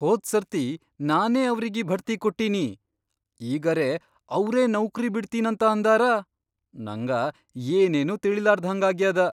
ಹೋದ್ ಸರ್ತಿ ನಾನೇ ಅವ್ರಿಗಿ ಭಡ್ತಿ ಕೊಟ್ಟಿನಿ, ಈಗರೆ ಅವ್ರೇ ನೌಕ್ರಿ ಬಿಡ್ತೀನಂತ ಅಂದಾರ, ನಂಗ ಏನೇನೂ ತಿಳೀಲಾರ್ದ್ಹಂಗಾಗ್ಯಾದ.